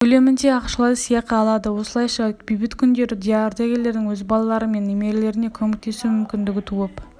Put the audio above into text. көлемінде ақшалай сыйақы алады осылайша бейбіт күндері деардагерлердің өз балалары мен немерелеріне көмектесу мүмкіндігі туып